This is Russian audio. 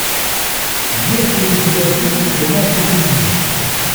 есть ли у тебя фильм тринадцать убийц